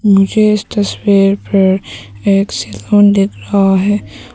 मुझे इस तस्वीर पर एक सैलून दिख रहा है।